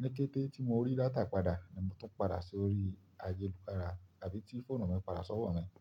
Ní kété tí mo rí data padà ni mo tún padà sí orí ayélujára tàbí tí fóònù mi padà sọ́wọ́ ni.